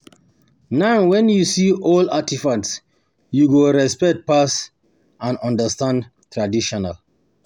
Na wen you see old artifacts you go respect past and understand tradition.